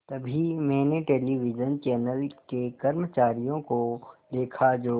तभी मैंने television channel के कर्मचारियों को देखा जो